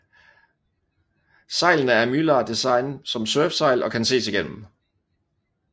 Sejlene er af mylar design som surfsejl og kan ses igennem